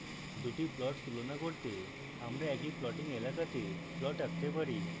দুটি plots তুলনা করতে আমরা একই plotting এলাকাতে plots আঁকতে পারি